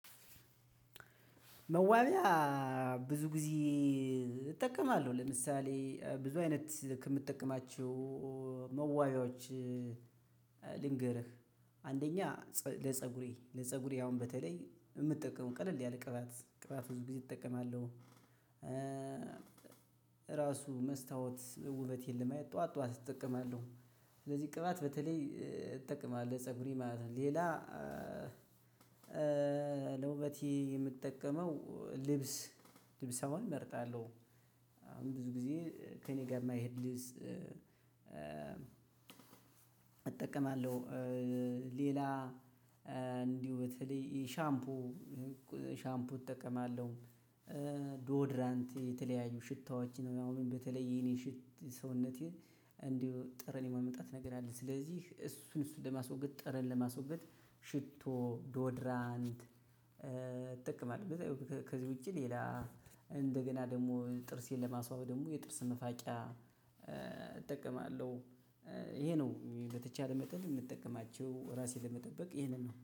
መዋቢያ ብዙ ጊዜ እጠቀማለሁ ለምሳሌ ብዙ አይነት ከምትጠቀማቸው መዋቢያዎች ልንገርህ አንደኛ ፀ ለፀጉሬ ለፀጉሬ አሁን በተለይ እምጠቀመው ቀለል ያለ ቅባት ቅባት ብዙ ጊዜ እጠቀማለሁ። ራሱ መስታወት ውበቴን ለማየት ጠዋት ጠዋት እጠቀማለሁ ስለዚህ ቅባት በተለይ እጠቅማለሁ ፀጉሬ ማለት ነው። ሌላ ለውበቴ የምጠቀመው ልብስ ልብስ አሁን እመርጣለሁ። አሁን ብዙ ጊዜ ከእኔ ጋር እማይሄድ ልብስ እ እጠቀማለሁ። ሌላ እንዲሁ በተለይ ሻምፑ ሻምፑ እጠቀማለሁ ዶድራንት የተለያዩ ሽታዎችን ነው። ያው በተለይ የኔን ሽት ሰውነቴ እንዲሁ ጠረን የማምጣት ነገር አለ። ስለዚህ እሱን እሱን ለማስወገድ ጠረን ለማስወገድ ሽቶ ዶድራንት እጠቀማለሁ። ከዚህ ውጪ ሌላ እንደገና ደሞ ጥርሴን ለማስዋብ ደሞ የጥርስ መፋቂያ እጠቀማለሁ። ይሄ ነው በተቻለ መጠን እምጠቀማቸው ራሴን ለመጠበቅ ይሄንን ነው